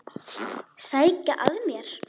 Sækja að mér.